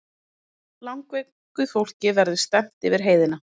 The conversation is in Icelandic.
Langveiku fólki verði stefnt yfir heiðina